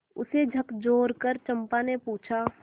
उसे झकझोरकर चंपा ने पूछा